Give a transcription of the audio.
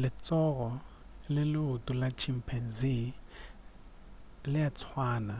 letsogo le leoto la chimpanzee le a swana